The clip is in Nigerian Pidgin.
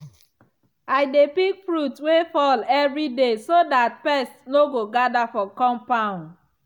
i dey pick fruit wey fall every day so that pest no go gather for compound.